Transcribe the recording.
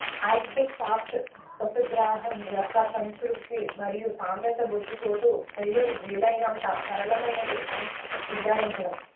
Arctic fox పశుగ్రాసం యొక్క సంతృప్తి మరియు సాంద్రత బొచ్చు కోటు శైలులు వీలైనంత సరళమైనవి అని నిర్ధారించడం